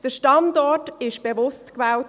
Der Standort wurde bewusst gewählt.